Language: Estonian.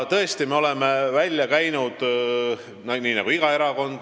Tõesti, me oleme välja käinud ideid, nii nagu iga erakond.